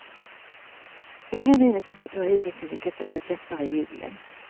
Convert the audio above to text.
Inga minustemperaturer har hittills lyckats sätta käppar i hjulen.